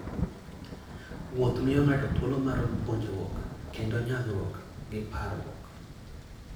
Wuoth miyo ng'ato thuolo mar puonjruok kendo nyagruok gi parruok.